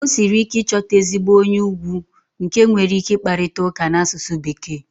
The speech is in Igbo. O siri ike ịchọta ezigbo onye ugwu nke nwere ike ịkparịta ụka n'asụsụ Bekee.